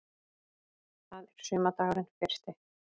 Það er sumardagurinn fyrsti.